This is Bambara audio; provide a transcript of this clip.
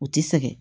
U ti sɛgɛn